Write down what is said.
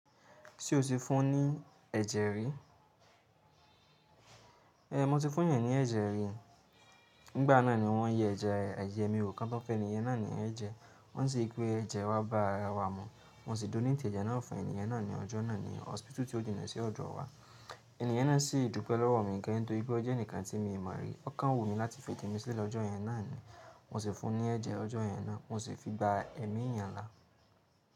Ṣé o ti fún ní ẹ̀jẹ̀ rí? Ée mo ti fún èeyàn ní ẹ̀jẹ̀ rí. Nígbà náà ni wọ́n yẹ ẹ̀jẹ̀, ẹ̀jẹ mi wò kán tó fun ènìyen náà ní ẹ̀jẹ̀. Wọ́n sì ri wipé ẹ̀jẹ̀ wá bá ara wa mu. Mo sì donate ẹje náà fún ènìyàn náà ní ọjọ́ náà ní hospital tí ó jìnà sí ọ̀dọ̀ wa. Ènìyen náà sì dúpẹ́ lọ́wọ́ mi gan nítorí pé ọ́ jẹ́ ẹnìkan tí mii n mọ̀ rí. Ọ́ kàn wu mí láti fí ejẹ́ mi sílẹ̀ lọ́jọ́ yẹn náà ni. Mo sì fún ní ẹ̀jẹ̀ ọjọ́ yẹn náà, mo sì fi gba ẹ̀mí eeyàn lá.